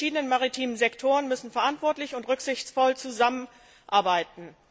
Die verschiedenen maritimen Sektoren müssen verantwortlich und rücksichtsvoll zusammenarbeiten.